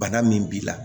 Bana min b'i la